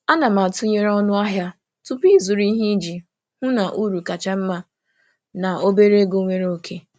Ana m atụnyere ọnụ ahịa tupu ịzụrụ ihe iji hụ na uru kacha mma na obere ego nwere oke.